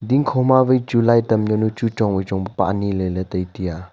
dingkho ma wai chu light am jaunu chu chong wai chong pa aniley ley tiya.